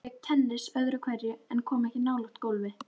Hann lék tennis öðru hverju en kom ekki nálægt golfi.